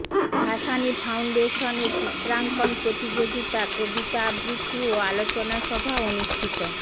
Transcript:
ভাসানী ফাউন্ডেশনের চিত্রাঙ্কন প্রতিযোগিতা কবিতা আবৃত্তি ও আলোচনা সভা অনুষ্ঠিত